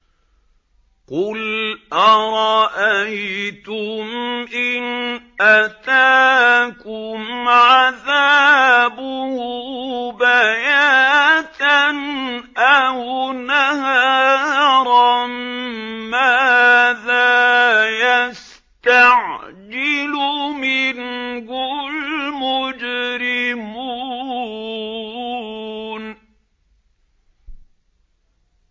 قُلْ أَرَأَيْتُمْ إِنْ أَتَاكُمْ عَذَابُهُ بَيَاتًا أَوْ نَهَارًا مَّاذَا يَسْتَعْجِلُ مِنْهُ الْمُجْرِمُونَ